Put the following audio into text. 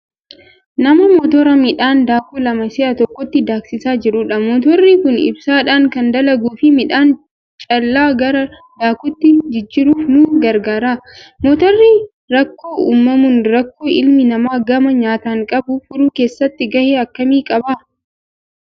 Nama motora midhaan daaku lama si'a tokkotti daaksisaa jirudha. Motorri kun ibsaadhaan kan dalaguu fi midhaan callaa gara daakuutti jijjiirruuf nu gargaara. Motorri rakkoo uumamuun rakkoo ilmi namaa gama nyaataan qabu furuu keessatti gahee akkamii qaba?